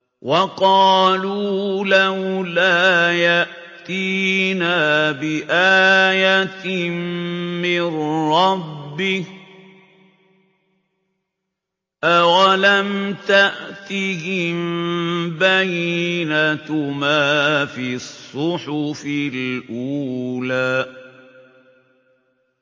وَقَالُوا لَوْلَا يَأْتِينَا بِآيَةٍ مِّن رَّبِّهِ ۚ أَوَلَمْ تَأْتِهِم بَيِّنَةُ مَا فِي الصُّحُفِ الْأُولَىٰ